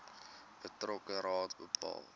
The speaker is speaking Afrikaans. betrokke raad bepaal